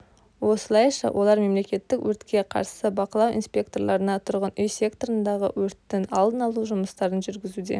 осылайша олар мемлекеттік өртке қарсы бақылау инспекторларына тұрғын үй секторындағы өрттің алдын алу жұмыстарын жүргізуде